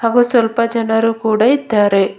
ಹಾಗು ಸ್ವಲ್ಪ ಜನರು ಕೂಡ ಇದ್ದಾರೆ.